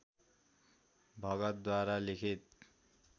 भगतद्वारा लिखित